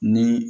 Ni